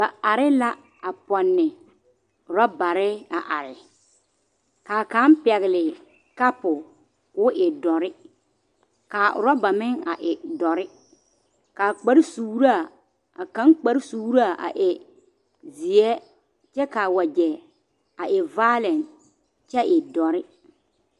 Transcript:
Ba are la a pɔnne orɔbare a are ka kaŋ a pɛgle kapo k,o e.dɔre k,a orɔba meŋ a e dɔre k,a kpare suuraa a kaŋ kpare suuraa a e zeɛ kyɛ k,a wagyɛ a e vaare kyɛ e dɔre.